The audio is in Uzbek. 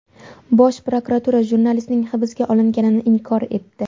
Bosh prokuratura jurnalistning hibsga olinganini inkor etdi .